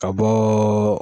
Ka bɔ.